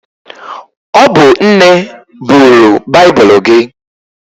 Ọ bụ nne buru baibulu gị.